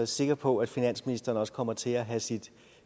sikker på at finansministeren også kommer til at have sit